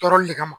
Tɔɔrɔli de kama